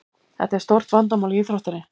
Þetta er stórt vandamál í íþróttinni.